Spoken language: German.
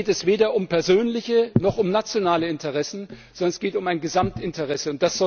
Da geht es weder um persönliche noch um nationale Interessen, sondern es geht um ein Gesamtinteresse.